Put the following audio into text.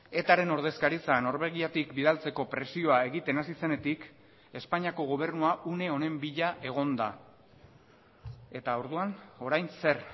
etaren ordezkaritza norvegiatik bidaltzeko presioa egiten hasi zenetik espainiako gobernua une honen bila egon da eta orduan orain zer